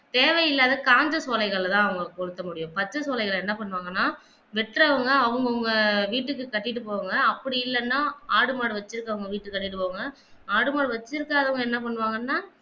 தேவையில்லாத காய்ஞ்ச சோலைகளத்தான் அவங்க கொளுத்த முடியும் பச்ச சோலைகள என்ன பண்ணுவாங்கன்னா வெட்டுறாங்க அவங்க அவங்க வீட்டுக்கு கட்டிட்டு போவாங்க அப்படி இல்லன்னா ஆடு மாடு வச்சு அவங்க வீட்டுக்கு தள்ளிட்டு போவாங்க ஆடு மாடு வெச்சி இருக்கு ராதவங்க என்ன பண்ணுவாங்கன்னா